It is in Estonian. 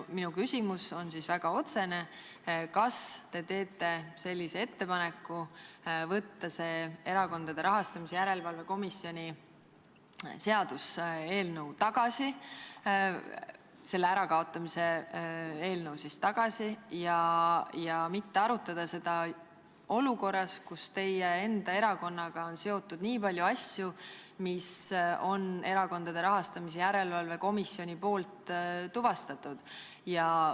Minu küsimus on väga otsene: kas te teete ettepaneku võtta Erakondade Rahastamise Järelevalve Komisjoni ärakaotamise eelnõu tagasi ja mitte arutada seda olukorras, kus teie enda erakonnaga on seotud nii palju asju, mis on Erakondade Rahastamise Järelevalve Komisjonil tuvastatud?